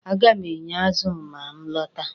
A ga m eye azụ ma m lọta echi.